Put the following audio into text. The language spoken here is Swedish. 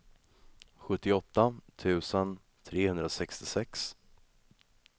sjuttioåtta tusen trehundrasextiosex